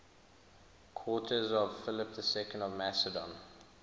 courtiers of philip ii of macedon